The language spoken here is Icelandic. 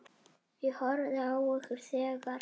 Ég horfði á ykkur þegar.